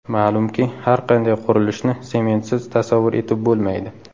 Ma’lumki, har qanday qurilishni sementsiz tasavvur etib bo‘lmaydi.